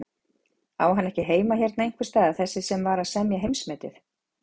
Á hann ekki heima hérna einhversstaðar þessi sem var að setja heimsmetið?